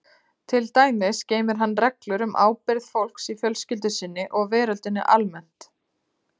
Til dæmis geymir hann reglur um ábyrgð fólks í fjölskyldu sinni og veröldinni almennt.